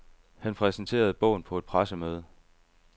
Han præsenterede bogen på et pressemøde.